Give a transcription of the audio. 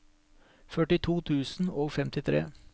førtito tusen og femtitre